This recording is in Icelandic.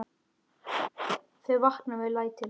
Þau vakna við lætin.